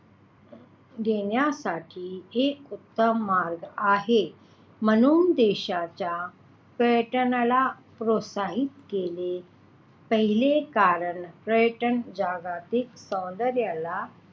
घेण्यासाठी एक उत्तम मार्ग आहे म्हणून देशाच्या पर्यटनाला प्रोत्साहित केले पाहिजे कारण पर्यटन जगातील सौन्दर्याला,